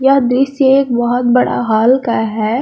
यह दृश्य एक बहुत बड़ा हॉल का है।